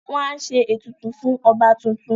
Wọ́n á ṣe ètùtù fún ọba tuntun